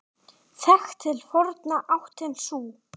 Þekkt til forna áttin sú.